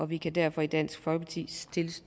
vi kan derfor i dansk folkeparti